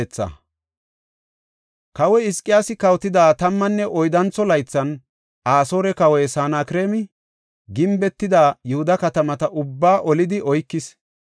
Kawoy Hizqiyaasi kawotida tammanne oyddantho laythan, Asoore kawoy Sanakreemi gimbetida Yihuda katamata ubbaa olidi oykis.